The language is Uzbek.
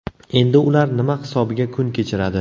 Endi ular nima hisobiga kun kechiradi?.